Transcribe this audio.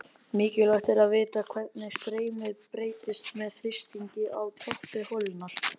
Mikilvægt er að vita hvernig streymið breytist með þrýstingi á toppi holunnar.